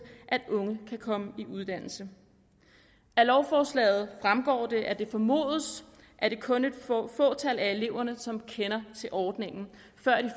at unge kan komme i uddannelse af lovforslaget fremgår det at det formodes at det kun er et fåtal af eleverne som kender til ordningen